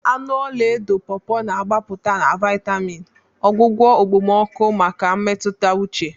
Anụ ọla edo Pawpaws na-agbapụta na vitamin, ọgwụgwọ okpomọkụ maka mmetụta uche.